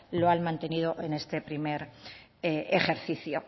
lo han mantenido en este primer ejercicio